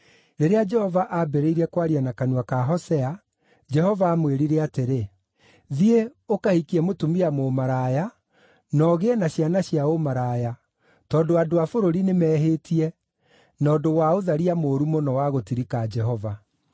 Rĩrĩa Jehova aambĩrĩirie kwaria na kanua ka Hosea, Jehova aamwĩrire atĩrĩ, “Thiĩ, ũkahikie mũtumia mũmaraya na ũgĩe na ciana cia ũmaraya, tondũ andũ a bũrũri nĩmehĩtie, na ũndũ wa ũtharia mũũru mũno wa gũtirika Jehova.”